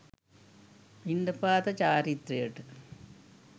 පිණ්ඩපාත චාරිත්‍රයට